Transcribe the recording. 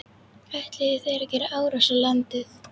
Ætluðu þeir að gera árás á landið?